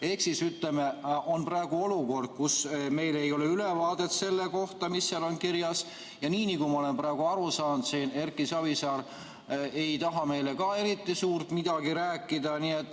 Ehk ütleme nii, et praegu on olukord, kus meil ei ole ülevaadet sellest, mis seal on kirjas, ja nagu ma aru olen saanud, ei taha ka Erki Savisaar meile eriti midagi rääkida.